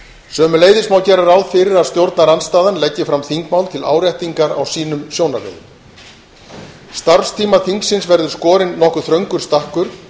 sömuleiðis má gera ráð fyrir að stjórnarandstaðan leggi fram þingmál til áréttingar á sínum sjónarmiðum starfstíma þingsins verður skorinn nokkuð þröngur stakkur